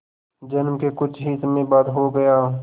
जन्म के कुछ ही समय बाद हो गया